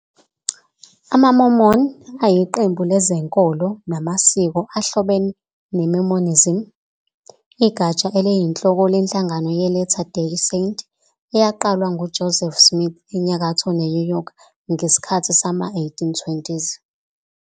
AmaMormon ayiqembu lezenkolo namasiko ahlobene neMormonism, igatsha eliyinhloko lenhlangano yeLatter Day Saint eyaqalwa nguJoseph Smith enyakatho neNew York ngesikhathi sama-1820s.